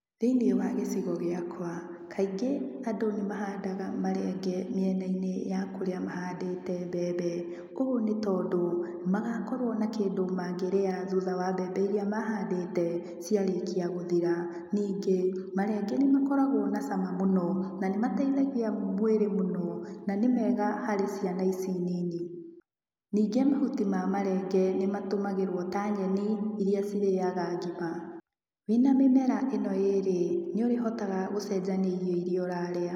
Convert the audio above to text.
Thĩnĩ wa gĩcigo gĩakwa, kaingĩ andũ nĩ mahandaga marenge mĩena-inĩ ya kũrĩa mahandĩte mbembe, koguo nĩ tondũ, magakorwo na kĩndũ mangĩria thutha wa mbembe iria mahandĩte, ciarĩkia gũthira. Ningĩ, marenge nĩ makoragwo na cama mũno, na nĩ mateithagia mwĩrĩ mũno na nĩ mega harĩ ciana ici nini. Ningĩ mahuti ma marenge, nĩ matũmagĩrwo ta nyeni, iria cirĩaga ngima. Wĩna mĩmera ĩno ĩrĩ, nĩũrĩhotaga gũcenjania irio iria ũrarĩa.